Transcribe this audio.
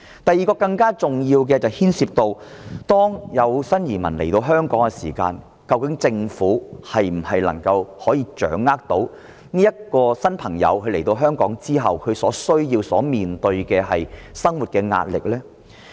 第二個層次的問題更加重要，是關乎新移民來到香港的時候，究竟政府能否掌握這些新朋友的需要和所面對的生活壓力。